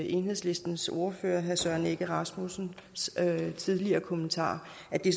enhedslistens ordfører herre søren egge rasmussens tidligere kommentarer